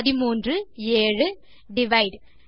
13 7 divide